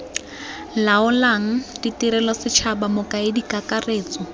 laolang tirelo setšhaba mokaedi kakaretso